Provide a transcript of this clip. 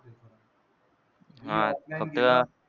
हां फक्त,